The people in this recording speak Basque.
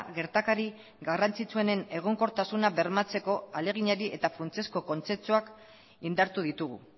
gertakari garrantzitsuenen egonkortasuna bermatzeko ahaleginari eta funtsezko kontzentzuak indartu ditugu